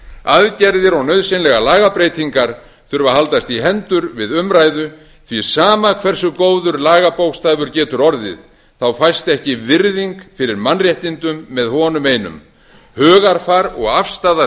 aðgerðir og nauðsynlegar lagabreytingar þurfa að haldast í hendur við umræðu því sama hversu góður lagabókstafur getur orðið fæst ekki virðing fyrir mannréttindum með honum einum hugarfar og afstaða